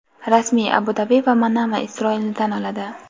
rasmiy Abu-Dabi va Manama Isroilni tan oladi.